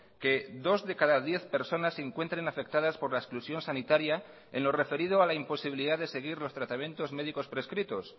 que dos de cada diez personas se encuentren afectadas por la exclusión sanitaria en lo referido a la imposibilidad de seguir los tratamientos médicos prescritos